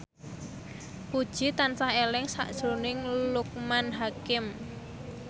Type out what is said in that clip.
Puji tansah eling sakjroning Loekman Hakim